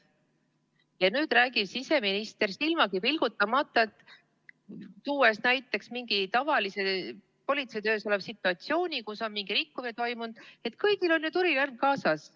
Ja nüüd räägib siseminister silmagi pilgutamata, tuues näiteks mingi tavalise politseitöös oleva situatsiooni, kui on mingi rikkumine toimunud, et kõigil on ju tulirelv kaasas.